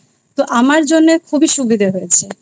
তো আমার জন্য খুবই সুবিধে হয়েছে